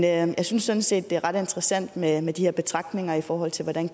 jeg synes sådan set at det er ret interessant med med de her betragtninger i forhold til hvordan